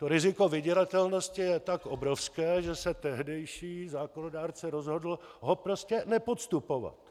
To riziko vydíratelnosti je tak obrovské, že se tehdejší zákonodárce rozhodl ho prostě nepodstupovat.